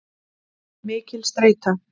Mikil streita.